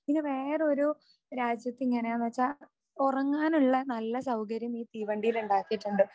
ഇനി വേറെ ഒരു രാജ്യത്ത് എങ്ങനാണ് വെച്ച ഉറങ്ങാനുള്ള നല്ല സൗകര്യം ഈ തീവണ്ടിയിൽ ഉണ്ടാക്കീട്ടുണ്ട്